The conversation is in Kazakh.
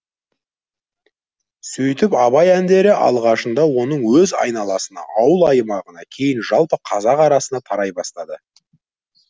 сөйтіп абай әндері алғашында оның өз айналасына ауыл аймағына кейін жалпы қазақ арасына тарай бастады